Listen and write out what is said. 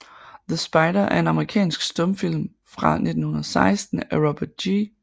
The Spider er en amerikansk stumfilm fra 1916 af Robert G